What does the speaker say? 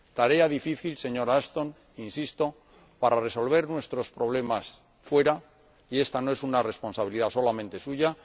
Tarea difícil, señora Ashton, insisto, para resolver nuestros problemas fuera, y esta no es una responsabilidad solamente suya